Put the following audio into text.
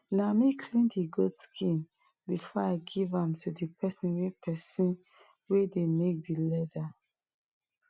na me clean de goat skin before i give am to de person wey person wey de make de leather